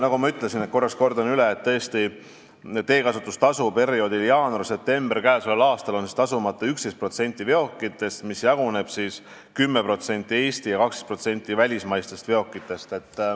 Nagu ma ütlesin – kordan korraks üle –, oli teekasutustasu perioodil jaanuarist septembrini k.a tasumata 11%-l veokitest, sealjuures 10%-l Eesti veokitest ja 12%-l välismaistest veokitest.